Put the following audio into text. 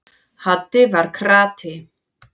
Haddi var krati.